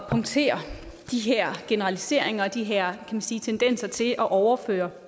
punktere de her generaliseringer og de her man sige tendenser til at overføre